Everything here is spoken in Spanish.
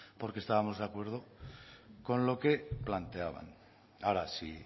porque estábamos de acuerdo con lo que planteaban ahora si